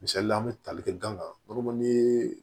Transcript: Misalila an bɛ tali kɛ danga